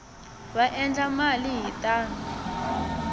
va endla mali hi tona